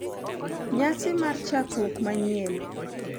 Nyasi mar chakruok manyien,